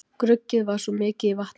Gruggið var svo mikið í vatninu